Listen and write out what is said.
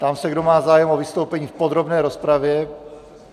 Ptám se, kdo má zájem o vystoupení v podrobné rozpravě.